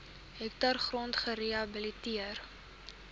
hektaar grond gerehabiliteer